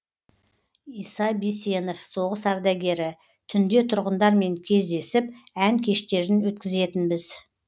иса бисенов соғыс ардагері түнде тұрғындармен кездесіп ән кештерін өткізетінбіз